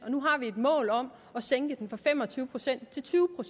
og nu har vi et mål om at sænke den fra fem og tyve procent til tyve